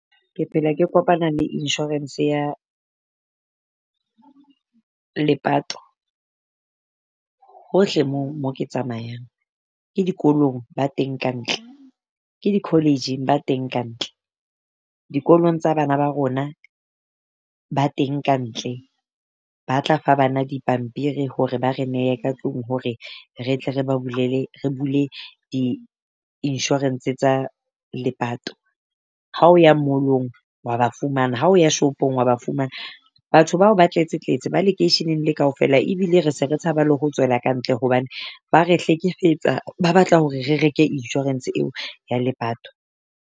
Ke phela ke kopana le insurance ya lepato hohle moo mo ke tsamayang, ke dikolong ba teng ka ntle ke di college-ing ba teng ka ntle. Dikolong tsa bana ba rona ba teng ka ntle ba tla fa bana dipampiri hore ba re nehe ka tlung hore re tle re ba bulele re bule di-insurance tsa lepato. Ha o ya mall-ong wa ba fumana, ha o ya shopong wa ba fumana. Batho bao ba tletse tletse ba lekeisheneng le kaofela ebile re se re tshaba le ho tswela ka ntle hobane ba re hlekefetsa. Ba batla hore re reke insurance eo ya lepato.